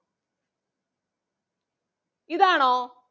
ഇതാണോ?